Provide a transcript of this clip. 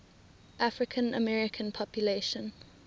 african american population